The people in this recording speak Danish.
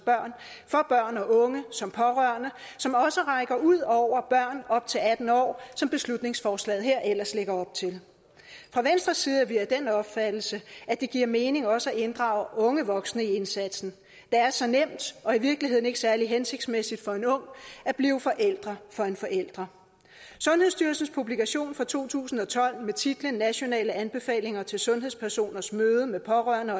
børn og unge som pårørende som også rækker ud over børn op til atten år som beslutningsforslaget her ellers lægger op til fra venstres side er vi af den opfattelse at det giver mening også at inddrage unge voksne i indsatsen det er så nemt og i virkeligheden ikke særlig hensigtsmæssigt for en ung at blive forælder for en forælder sundhedsstyrelsens publikation fra to tusind og tolv med titlen nationale anbefalinger til sundhedspersoners møde med pårørende